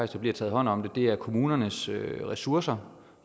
der bliver taget hånd om det det er kommunernes ressourcer